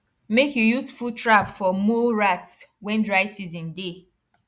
make you use foot trap for mole rat wen dry season dey